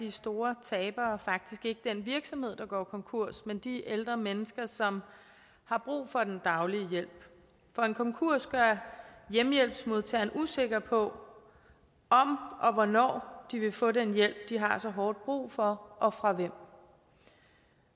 de store tabere faktisk ikke den virksomhed der går konkurs men de ældre mennesker som har brug for den daglige hjælp for en konkurs gør hjemmehjælpsmodtagerne usikre på om og hvornår de vil få den hjælp de har så hårdt brug for og fra hvem